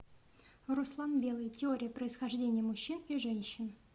руслан белый теория происхождения мужчин и женщин